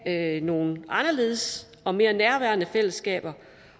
have nogle anderledes og mere nærværende fællesskaber